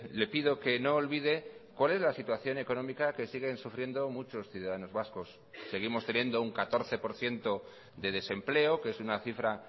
le pido que no olvide cual es la situación económica que siguen sufriendo muchos ciudadanos vascos seguimos teniendo un catorce por ciento de desempleo que es una cifra